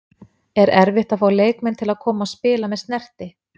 Er erfitt að fá leikmenn til að koma og spila með Snerti?